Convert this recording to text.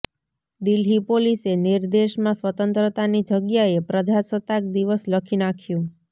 દિલ્હી પોલીસે નિર્દેશમાં સ્વતંત્રતાની જગ્યાએ પ્રજાસત્તાક દિવસ લખી નાખ્યું